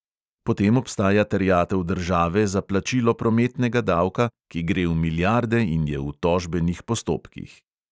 Potem obstaja terjatev države za plačilo prometnega davka, ki gre v milijarde in je v tožbenih postopkih.